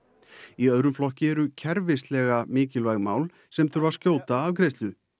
í öðrum flokki eru kerfislega mikilvæg mál sem þurfi skjóta afgreiðslu